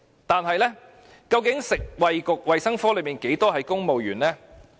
但是，究竟食物及衞生局裏面，有多少名公務員呢？